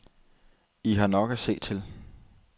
I har nok at se til.